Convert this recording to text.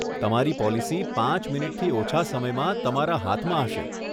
તમારી પોલિસી પાંચ મિનિટથી ઓછાં સમયમાં તમારા હાથમાં હશે.